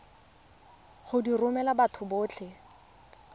go di romela batho botlhe